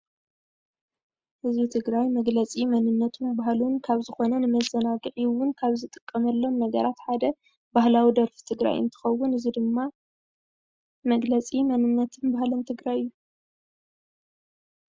ህዝቢ ትግራይ መግለፂ መንነቱን ባህሉን ካብ ዝኮነ ንመዘናግዒ እውን ካብ ዝጥቀመሎም ነገራት ሓደ ባህላዊ ደርፊ ትግራይ እንትከውን እዚ ድማ መግለፂ መንነትን ባህልን ትግራይ እዩ።